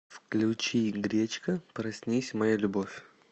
включи гречка проснись моя любовь